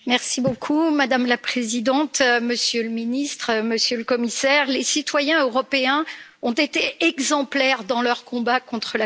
Madame la Présidente, Monsieur le Ministre, Monsieur le Commissaire, les citoyens européens ont été exemplaires dans leur combat contre la COVID